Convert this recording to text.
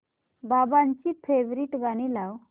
बाबांची फेवरिट गाणी लाव